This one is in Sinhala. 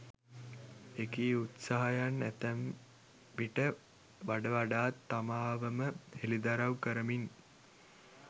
එකී උත්සාහයන් අතැම්විට වඩ වඩාත් තමාව ම හෙළිදරව් කරමින්